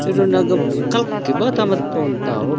छिरो नगब कलके बता मत फोन ताव।